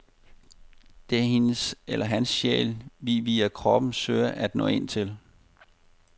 Det er hendes eller hans sjæl, vi via kroppen søger at nå ind til.